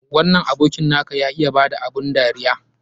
Wannan abokin na ka ya iya ba da abun dariya.